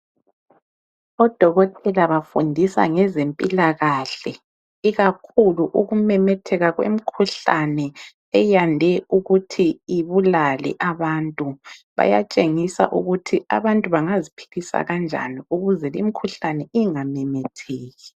Odokotela bafundisa ngezempilakahle ikakhulu ukumemetheka kwemikhuhlane eyande ukuthi ibulale abantu. Bayatshengisa ukuthi abantu bangaziphilisa kanjani ukuze limkhuhlane ingamemetheki.